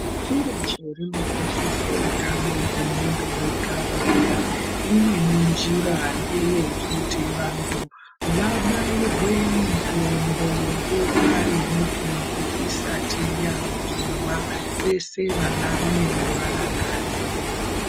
Firiji rinokoshesa utano hwemuntu wega wega. Imweni njira nge yekuti vantu vabairwe mitombo nguwa yemitombo isati yaguma. Vese vanarume nevanakadzi.